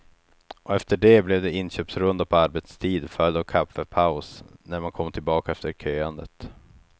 Och efter det blev det inköpsrunda på arbetstid följd av kaffepaus, när man kom tillbaka efter köandet.